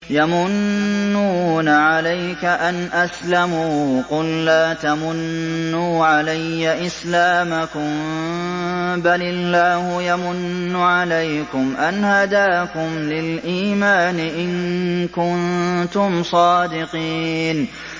يَمُنُّونَ عَلَيْكَ أَنْ أَسْلَمُوا ۖ قُل لَّا تَمُنُّوا عَلَيَّ إِسْلَامَكُم ۖ بَلِ اللَّهُ يَمُنُّ عَلَيْكُمْ أَنْ هَدَاكُمْ لِلْإِيمَانِ إِن كُنتُمْ صَادِقِينَ